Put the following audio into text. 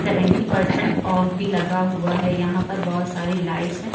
Seventy percent off भी लगा हुआ है। यहां पर बहोत सारी लाइट्स हैं।